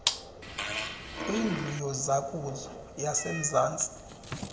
kwindlu yozakuzo yasemzantsi